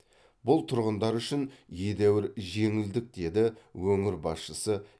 бұл тұрғындар үшін едәуір жеңілдік деді өңір басшысы